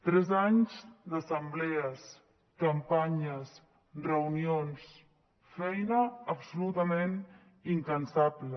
tres anys d’assemblees campanyes reunions feina absolutament incansable